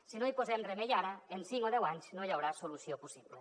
si no hi posem remei ara en cinc o deu anys no hi haurà solució possible